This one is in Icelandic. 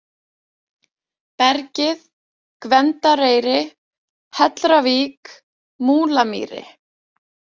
Bergið, Gvendareyri, Hellravík, Múlamýri